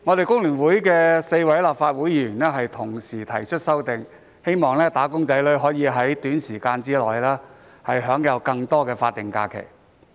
工聯會4位議員已提出修正案，希望"打工仔女"可以在短時間內享有更多法定假日。